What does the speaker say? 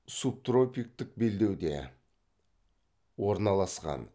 субтропиктік белдеуде орналасқан